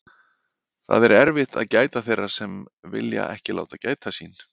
Það er erfitt að gæta þeirra sem vilja ekki láta gæta sín.